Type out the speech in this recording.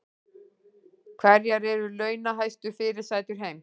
Hverjar eru launahæstu fyrirsætur heims